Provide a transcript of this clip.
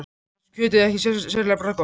Helga fannst kjötið ekki sérlega bragðgott.